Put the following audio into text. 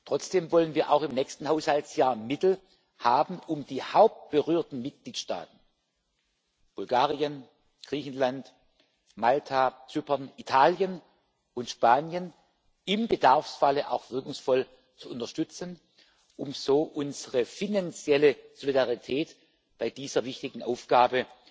Trotzdem wollen wir auch im nächsten Haushaltsjahr Mittel haben, um die hauptberührten Mitgliedstaaten Bulgarien, Griechenland, Malta, Zypern, Italien und Spanien im Bedarfsfalle auch wirkungsvoll zu unterstützen, um so unsere finanzielle Solidarität bei dieser wichtigen Aufgabe